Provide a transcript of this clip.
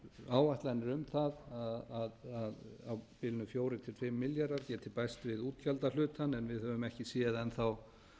áætlanir um það að á bilinu fjórar til fimm milljarðar geti bæst við útgjaldahlutann en við höfum ekki séð enn þá